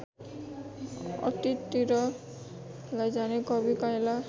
अतीततिर लैजाने कवि काइँला